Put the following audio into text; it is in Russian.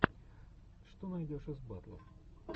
что найдешь из батлов